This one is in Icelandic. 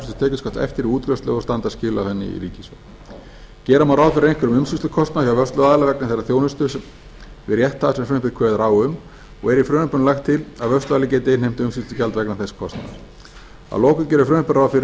tekjuskatts eftir við útgreiðslu og standa skil á henni í ríkissjóð gera má ráð fyrir einhverjum umsýslukostnaði hjá vörsluaðila vegna þeirrar þjónustu við rétthafa sem frumvarpið kveður á um og er í frumvarpinu lagt til að vörsluaðili geti innheimt umsýslugjald vegna þess kostnaðar að lokum gerir frumvarpið ráð fyrir að